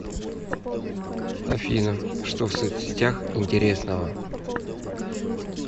афина что в соцсетях интересного